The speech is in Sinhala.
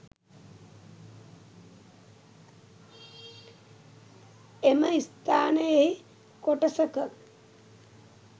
එම ස්ථානයෙහි කොටසක